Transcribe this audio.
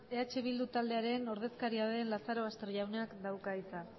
eh bildu taldearen ordezkaria den lazarobaster jaunak dauka hitza